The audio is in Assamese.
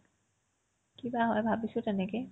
কি বা হয় ভাবিছো তেনেকে